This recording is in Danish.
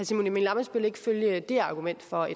simon emil ammitzbøll ikke følge det argument for